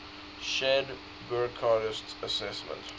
shared burckhardt's assessment